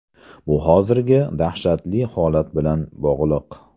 Bu hozirgi dahshatli holat bilan bog‘liq.